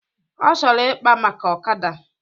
Ọ chọrọ ikpa maka ọkada